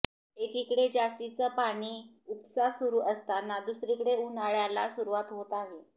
एकीकडे जास्तीचा पाणी उपसा सुरू असताना दुसरीकडे उन्हाळ्याला सुरूवात होत आहे